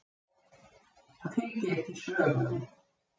Það fylgir ekki sögunni.